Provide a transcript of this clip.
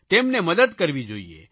તેમને મદદ કરવી જોઇએ